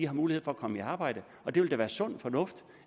har mulighed for at komme i arbejde det vil da være sund fornuft